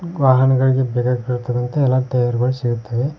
ವಾಹನಗಳಿಗೆ ಎಲ್ಲಾ ಟೈಯರ್ ಗಳು ಸಿಗುತ್ತವೆ.